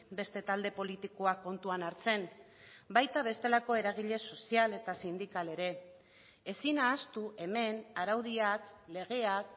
beste talde politikoak kontuan hartzen baita bestelako eragile sozial eta sindikal ere ezin ahaztu hemen araudiak legeak